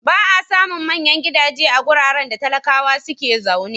Ba a samun manyan gidaje a wuraren da talakawa suke zaune.